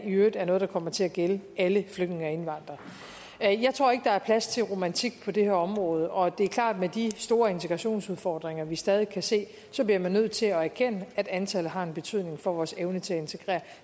i øvrigt er noget der kommer til at gælde alle flygtninge og indvandrere jeg tror ikke der er plads til romantik på det her område og det er klart at med de store integrationsudfordringer vi stadig kan se så bliver man nødt til at erkende at antallet har en betydning for vores evne til at integrere